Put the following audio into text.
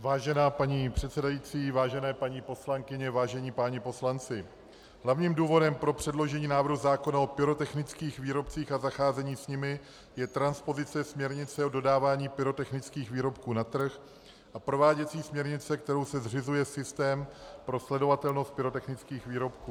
Vážená paní předsedající, vážené paní poslankyně, vážení páni poslanci, hlavním důvodem pro předložení návrhu zákona o pyrotechnických výrobcích a zacházení s nimi je transpozice směrnice o dodávání pyrotechnických výrobků na trh a prováděcí směrnice, kterou se zřizuje systém pro sledovatelnost pyrotechnických výrobků.